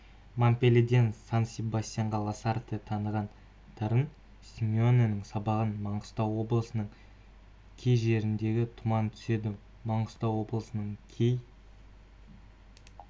монпельеден сан-себастьянға ласарте таныған дарын симеоненің сабағы маңғыстау облысының кей жерлерінде тұман түседі маңғыстау облысының кей